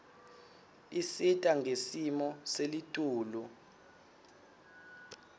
isita ngesimo selitulu